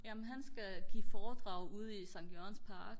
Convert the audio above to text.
jamen han skal give foredrag ude i skt jørgens park